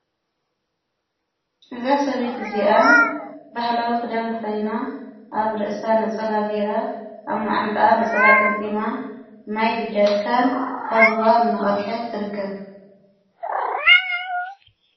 እዛ ሰበይት እዚኣ በሕላዊ ኽዳንቲ ኸና ኣብ ርእሳ ነጸላ ገይራ ኣብ ማዓንጣኣ ነጸላ ጥምጢማ ማይ ብጃርካን ካብርዋ እናቐድሐት ትርከብ።